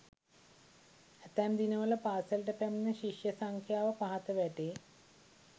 ඇතැම් දිනවල පාසලට පැමිණෙන ශිෂ්‍ය සංඛ්‍යාව පහත වැටේ.